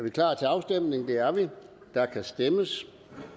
og der kan stemmes